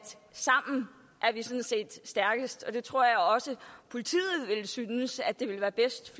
sammen er vi sådan set stærkest og det tror jeg også politiet synes ville være bedst